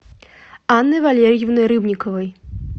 анной валерьевной рыбниковой